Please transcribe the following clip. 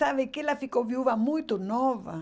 Sabe que ela ficou viúva muito nova.